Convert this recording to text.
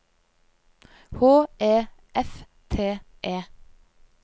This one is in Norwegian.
H E F T E